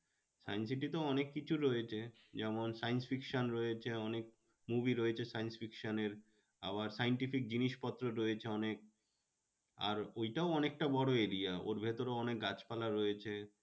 Science city তে অনেক কিছু রয়েছে, যেমন science fiction রয়েছে অনেক movie রয়েছে science fiction এর আবার scientific জিনিসপত্র রয়েছে অনেক আর ওইটাও অনেকটা বড়ো area ওর ভেতরেও অনেক গাছ পালা রয়েছে।